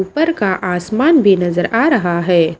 ऊपर का आसमान भी नजर आ रहा है।